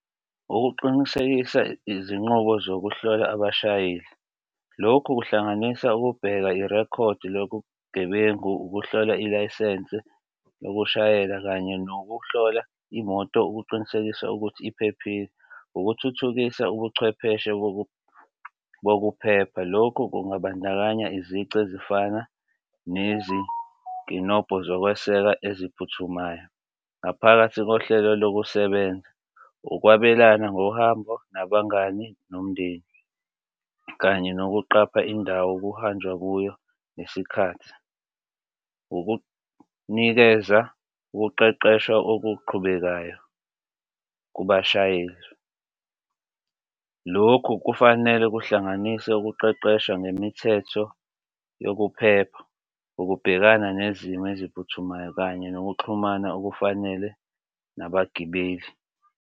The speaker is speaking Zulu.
Ukuqinisekisa izinqubo zokuhlola abashayeli, lokhu kuhlanganisa ukubheka irekhodi lobugebengu, ukuhlola ilayisense yokushayela, kanye nokuhlola imoto ukuqinisekisa ukuthi iphephile. Ukuthuthukisa ubuchwepheshe bokuphepha. Lokhu kungabandakanya izici ezifana nezikinobho zokweseka eziphuthumayo ngaphakathi kohlelo lokusebenza, ukwabelana ngohambo nabangani nomndeni kanye nokuqapha indawo kuhanjwa kuyo nesikhathi ukunikeza ukuqeqeshwa okuqhubekayo kubashayeli. Lokhu kufanele kuhlanganise ukuqeqeshwa ngemithetho yokuphepha, ukubhekana nezimo eziphuthumayo, kanye nokuxhumana okufanele nabagibeli.